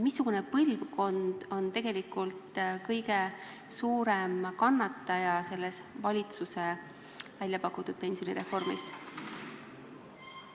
Missugune põlvkond tegelikult selle valitsuse väljapakutud pensionireformi tõttu kõige rohkem kannatab?